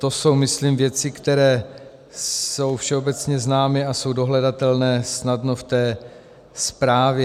To jsou myslím věci, které jsou všeobecně známy a jsou dohledatelné snadno v té zprávě.